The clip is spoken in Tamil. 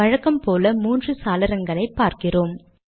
வழக்கம்போல மூன்று சாளரங்களை பார்க்கிறோம்